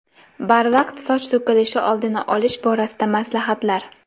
Barvaqt soch to‘kilishi oldini olish borasida maslahatlar.